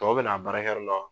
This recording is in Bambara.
Tɔw bɛ na baarakɛ .